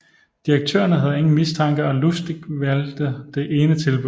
Direktørerne havde ingen mistanke og Lustig valgte det ene tilbud